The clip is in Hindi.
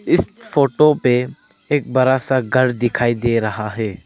इस फोटो पे एक बड़ा सा घर दिखाई दे रहा है।